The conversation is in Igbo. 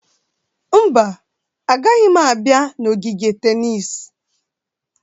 Mba, agaghị m abịa n'ogige tennis.